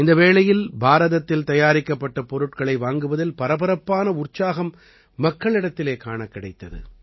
இந்த வேளையில் பாரதத்தில் தயாரிக்கப்பட்ட பொருட்களை வாங்குவதில் பரபரப்பான உற்சாகம் மக்களிடத்திலே காணக் கிடைத்தது